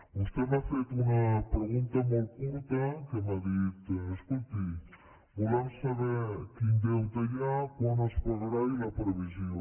vostè m’ha fet una pregunta molt curta que m’ha dit escolti volem saber quin deute hi ha quan es pagarà i la previsió